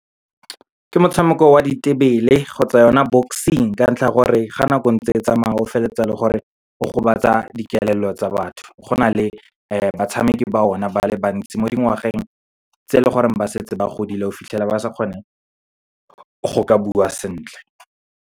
Ke motshameko wa ditebele, kgotsa yona boxing. Ka ntlha ya gore, ga nako entse e tsamaya, o feleletsa e le gore, o gobatsa dikelello tsa batho. Go na le batshameki ba one ba le bantsi mo dingwageng tse leng gore ba setse ba godile, o fitlhela ba sa kgone go ka bua sentle.